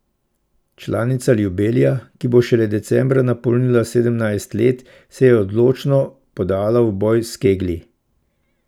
Članica Ljubelja, ki bo šele decembra napolnila sedemnajst let, se je odločno podala v boj s keglji.